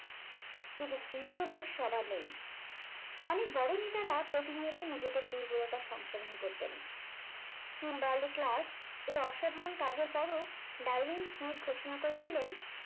কিন্তু CEO রোগ সবার নেই অনেক বড় নেতারা প্রতিনিয়ত নিজেদের দুর্বলতার সংশোধন করতেন কিংবা . এই অসাধারণ কাজের পরও ডারউইন স্নেক ঘোষণা করেছিলেন